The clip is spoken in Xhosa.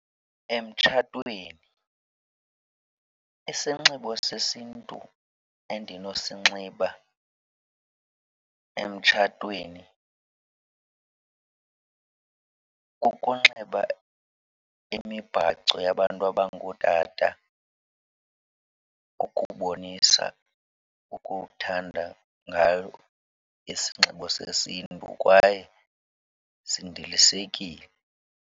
Emtshatweni isinxibo sesiNtu endinosinxiba emtshatweni kukunxiba imibhaco yabantu abangootata ukubonisa ukuthanda ngayo isinxibo sesiNtu, kwaye sindilisekile.